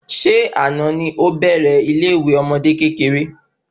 Ṣé àná ni ọ bèrè ile ìwé àwọn ọmọdé kékeré?